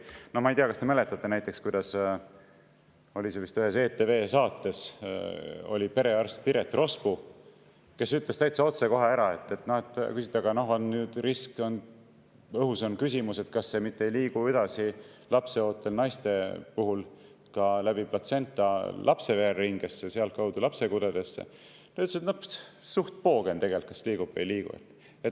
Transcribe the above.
No ma ei tea, kas te mäletate, kuidas vist ühes ETV saates oli perearst Piret Rospu, kes ütles täitsa otse ära, kui, et õhus on küsimus, ega see ei liigu lapseootel naiste puhul läbi platsenta lapse vereringesse ja sealtkaudu lapse kudedesse, et noh, suht poogen tegelikult, kas liigub või ei liigu.